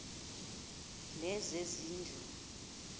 lezezindlu